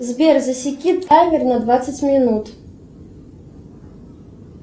сбер засеки таймер на двадцать минут